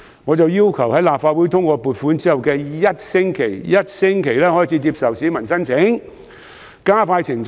我於是要求政府在立法會通過撥款的1星期內開始接受市民申請，以加快程序。